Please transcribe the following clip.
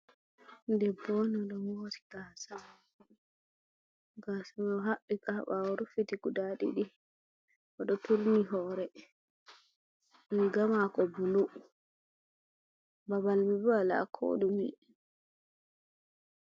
Debbo on oɗo mori gasamako, gasamai ohaɓɓi ka ha ɓawo ruffiti guda ɗiɗi o ɗo turni horemako riga mako bulu babal mai bo wala koɗume.